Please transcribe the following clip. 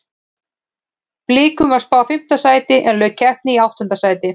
Blikum var spáð fimmta sæti en lauk keppni í áttunda sæti.